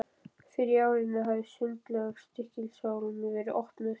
Fyrr á árinu hafði Sundlaug Stykkishólms verið opnuð.